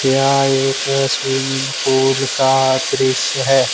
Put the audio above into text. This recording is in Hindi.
क्या एक स्विमिंग पूल का दृश्य है।